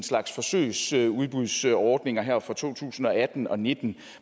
slags forsøgsudbudsordninger her fra to tusind og atten og nitten